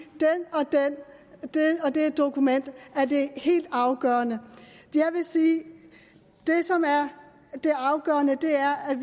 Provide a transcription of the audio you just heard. det og det dokument er det helt afgørende jeg vil sige at det som er det afgørende er at